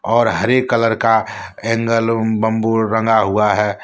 और हरे कलर का एंगल और बंबू रंगा हुआ है।